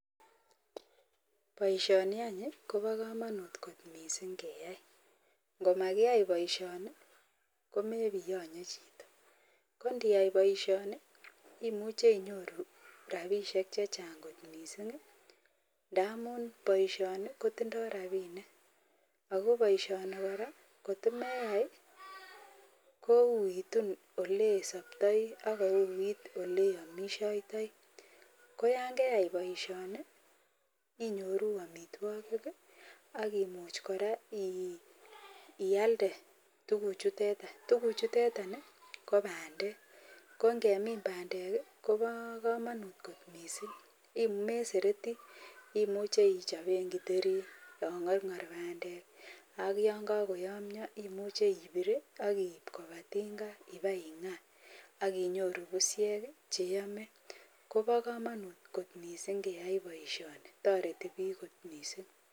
baishoni ko ba kamanut missing keyai komaikiyai baisho komeiyanye chito koniyai baishoni imuche inyoru rabishek chechang kot mising ntamun baishoni kotindoi rabinik ako baishoni koraa kotimeyai koitun olesaptai ak kouit olesaptai koyangei baishoni inyoru amitwagi akomuch koraa iyalde tuguk chutetan ako tuguk chutetan ko bandek ko ngemin bandek ko ba kamanut mising komemuchi iseret amun imuchi ichopen githeri yangargar bandek ak yangakoyamia imuche ibir akiip koba tinga ingaa akinyoru bushe cheimuche iyame akoba kamanut mising keyai baishoni ako ba kamanut mising